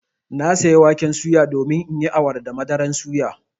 Na saya waken suya domin in yi awara da madaran suya.